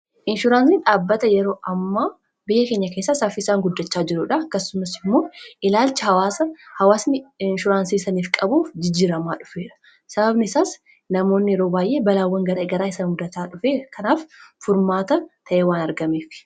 Inshuraans dhaabbata yeroo ammaa biyya keenya keessa Saffiiisaan guddachaa jiruudha. Akkassumas immoo ilaalchi hawaasa hawaasni inshuraansiisaniif qabuuf jijjiramaa dhufeera. Sababni isaas namoonni yeroo baay'ee balaawwan gara garaa isan mudataa dhufe kanaaf furmaata ta'ee waan argameef.